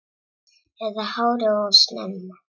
Eða hálfu ári of snemma.